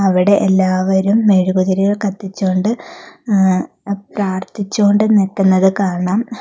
അവിടെ എല്ലാവരും മെഴുകുതിരികൾ കത്തിച്ചോണ്ട് അ പ്രാർത്ഥിച്ചോണ്ട് നിക്കുന്നത് കാണാം.